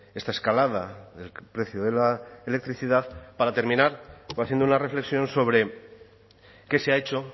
esta escalada del precio de la electricidad para terminar haciendo una reflexión sobre qué se ha hecho